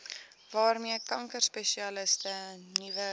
waarmee kankerspesialiste nuwe